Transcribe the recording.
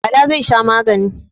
Bala zai sha magani.